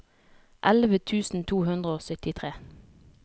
elleve tusen to hundre og syttitre